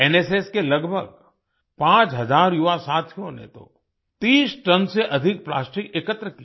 NSS के लगभग 5000 युवा साथियों ने तो 30 टन से अधिक प्लास्टिक एकत्र किया